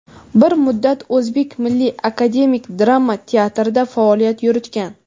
Bir muddat O‘zbek Milliy akademik drama teatrida faoliyat yuritgan.